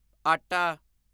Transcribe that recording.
ਆਟਾ